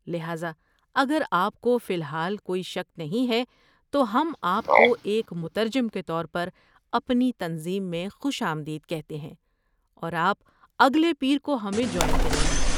لہذا، اگر آپ کو فی الحال کوئی شک نہیں ہے تو ہم آپ کو ایک مترجم کے طور پر اپنی تنظیم میں خوش آمدید کہتے ہیں اور آپ اگلے پیر کو ہمیں جوائن کریں گے۔